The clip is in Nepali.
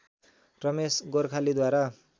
रमेश गोर्खालीद्वारा